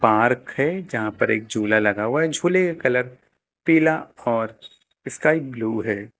Park है जहां पर एक झूला लगा हुआ है झूले का कलर पीला और स्काई ब्लू है।